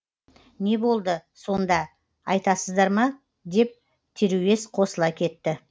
не болды сонда айтасыздар ма деп теруес қосыла кетті